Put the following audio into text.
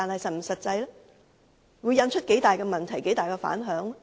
這樣做會引發多大的問題、多大的反響？